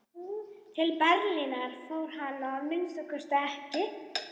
Til Berlínar fór hann að minnsta kosti ekki.